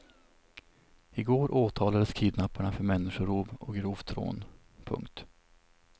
I går åtalades kidnapparna för människorov och grovt rån. punkt